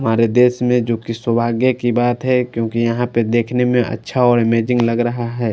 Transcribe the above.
हमारे देश में जोकि सौभाग्य की बात है क्योंकि यहां पे देखने में अच्छा और अमेजिंग लग रहा है।